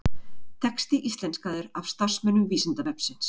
Texti íslenskaður af starfsmönnum Vísindavefsins.